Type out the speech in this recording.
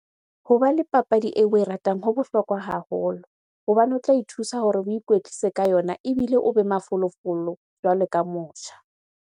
Hoba le papadi eo oe ratang ho bohlokwa haholo. Hobane ho tla ithusa hore o ikwetlise ka yona ebile o be mafolofolo jwalo ka motjha.